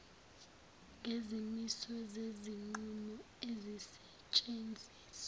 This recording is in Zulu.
ngezimiso zezinqumo ezisetshenziswa